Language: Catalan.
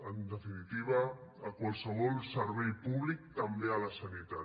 en definitiva a qualsevol servei públic també a la sanitat